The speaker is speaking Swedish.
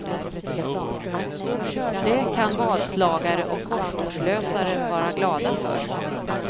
Det kan vadslagare och korsordslösare vara glada för.